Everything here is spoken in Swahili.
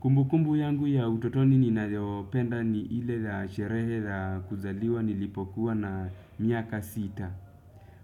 Kumbukumbu yangu ya utotoni ninayopenda ni ile la sherehe la kuzaliwa nilipokuwa na miaka sita.